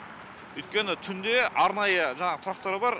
өйткені түнде арнайы жаңағы тұрақтар бар